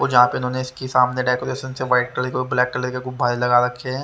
यहां पे इन्होंने इसकी सामने डेकोरेशन से व्हाइट कलर और ब्लैक कलर के गुब्बारे लगा रखे हैं।